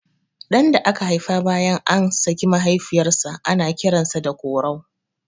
Ɗan da aka haifa bayan an saki mahaifiyar sa ana kiran sa Korau